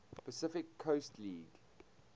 pacific coast league